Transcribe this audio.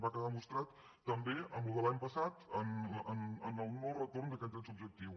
va quedar demostrat també amb el de l’any passat amb el no retorn d’aquest dret subjectiu